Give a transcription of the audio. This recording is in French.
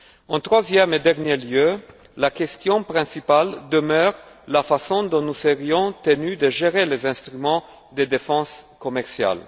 En troisième et dernier lieu, la question principale demeure de savoir comment nous serons tenus de gérer les instruments de défense commerciale.